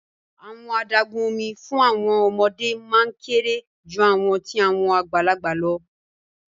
Awọn adagun omi fun awọn ọmọde maa n kere ju awọn ti awọn agbalagba lọ